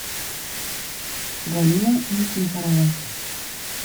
галина никифорова